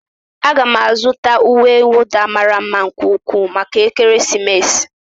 Aga m azụta uwe nwụda mara mma nke ukwuu maka ekeresimesi